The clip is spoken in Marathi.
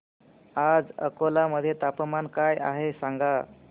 आज अकोला मध्ये तापमान काय आहे सांगा